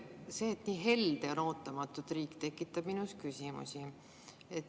See, et riik on ootamatult nii helde, tekitab minus küsimusi.